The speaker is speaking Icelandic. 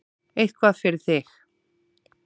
Eitthvað fyrir þig